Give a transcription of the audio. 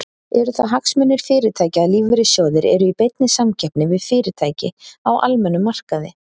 Eru það hagsmunir fyrirtækja að lífeyrissjóðir eru í beinni samkeppni við fyrirtæki á almennum markaði?